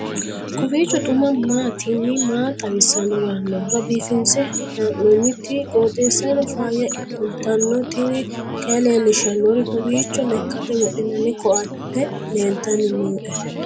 kowiicho xuma mtini maa xawissanno yaannohura biifinse haa'noonniti qooxeessano faayya kultanno tini kayi leellishshannori kowiicho lekkate wodhinnanni koatte leeltanni nooe